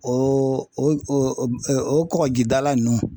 O o o o kɔkɔjida la ninnu